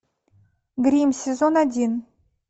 грим сезон один